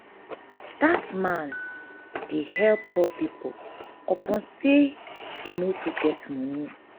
dat man dey help poor pipo upon sey e no too get moni.